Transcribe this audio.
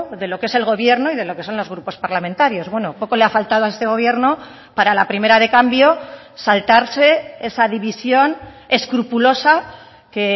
de lo que es el gobierno y de lo que son los grupos parlamentarios bueno poco le ha faltado a este gobierno para a la primera de cambio saltarse esa división escrupulosa que